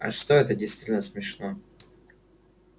а что это действительно смешно